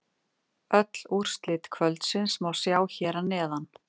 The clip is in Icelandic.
Öll úrslit kvöldsins má sjá hér að neðan